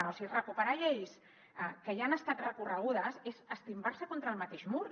o sigui recuperar lleis que ja han estat recorregudes és estimbar se contra el mateix mur